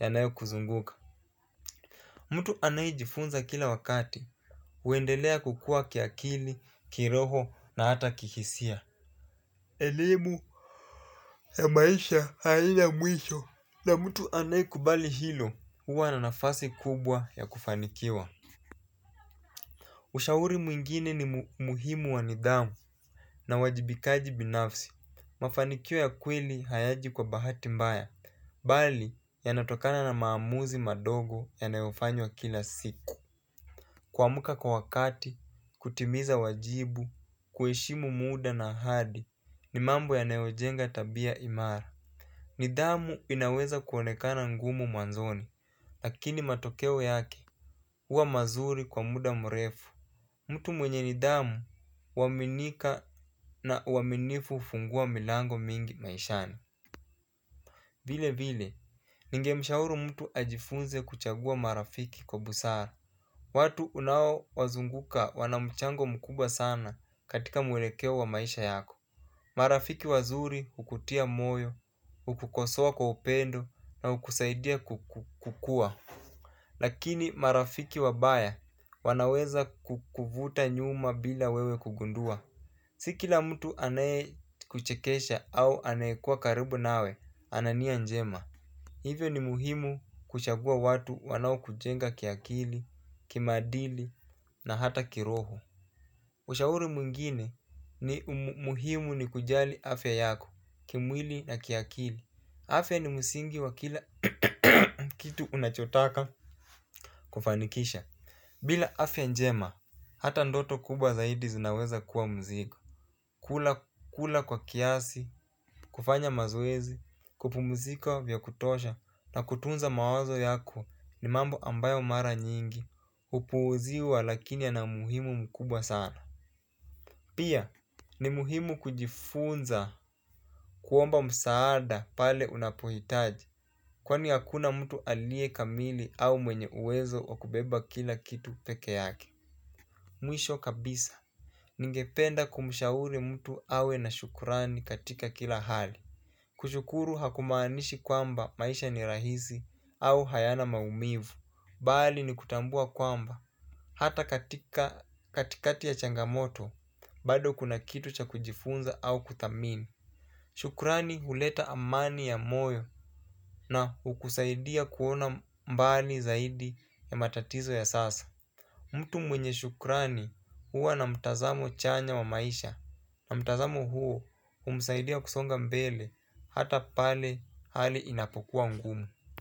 yanayo kuzunguka. Mtu anayejifunza kila wakati huendelea kukuwa kiakili, kiroho na hata kihisia. Elimu ya maisha haina mwisho na mtu anayekubali hilo huwa na nafasi kubwa ya kufanikiwa. Ushauri mwingine ni muhimu wa nidhamu na uwajibikaji binafsi. Mafanikio ya kweli hayaji kwa bahati mbaya. Bali yanatokana na maamuzi madogo yanayofanywa kila siku. Kuamka kwa wakati, kutimiza wajibu, kueshimu muda na ahadi ni mambo yanayojenga tabia imara. Nidhamu inaweza kuonekana ngumu mwanzoni, lakini matokeo yake huwa mazuri kwa muda mrefu. Mtu mwenye nidhamu huaminika na uaminifu hufungua milango mingi maishani vile vile, ningemshauru mtu ajifunze kuchagua marafiki kwa busara. Watu unao wazunguka wana mchango mkubwa sana katika mwelekeo wa maisha yako. Marafiki wazuri hukutia moyo, hukukosoa kwa upendo na hukusaidia kukua. Lakini marafiki wabaya wanaweza kukuvuta nyuma bila wewe kugundua. Si kila mtu anaye kuchekesha au anayekua karibu nawe ana nia njema. Hivyo ni muhimu kuchagua watu wanao kujenga kiakili, kimaadili na hata kiroho. Ushauri mwingine ni muhimu ni kujali afya yako, kimwili na kiakili. Afya ni musingi wa kila kitu unachotaka kufanikisha. Bila afya njema, hata ndoto kubwa zaidi zinaweza kuwa mzigo. Kula kwa kiasi, kufanya mazowezi, kupumzika vya kutosha na kutunza mawazo yako ni mambo ambayo mara nyingi hupuuziwa lakini yana muhimu mkubwa sana. Pia, ni muhimu kujifunza kuomba msaada pale unapohitaji kwani hakuna mtu aliye kamili au mwenye uwezo wa kubeba kila kitu peke yake. Mwisho kabisa, ningependa kumshauri mtu awe na shukrani katika kila hali. Kushukuru hakumaanishi kwamba maisha ni rahisi au hayana maumivu. Bali ni kutambua kwamba, hata katika katikati ya changamoto, bado kuna kitu cha kujifunza au kudhamini. Shukrani huleta amani ya moyo na hukusaidia kuona mbali zaidi ya matatizo ya sasa. Mtu mwenye shukrani huwa na mtazamo chanya wa maisha. Na mtazamo huo humsaidia kusonga mbele hata pale hali inapokuwa ngumu.